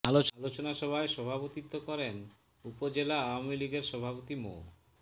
আলোচনা সভায় সভাপতিত্ব করেন উপজেলা আওয়ামী লীগের সভাপতি মো